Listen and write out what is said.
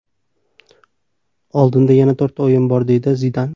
Oldinda yana to‘rtta o‘yin bor”, deydi Zidan.